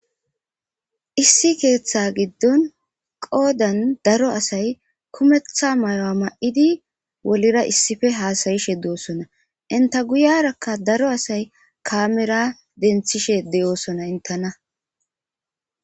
Issi keththa gidon qodan daro asay kumeththa mayo mayidi wulera hasayishe dosona inta guyerakka daro asayka daro asay kamera denththishe intena